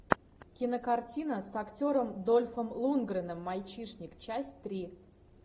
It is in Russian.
кинокартина с актером дольфом лундгреном мальчишник часть три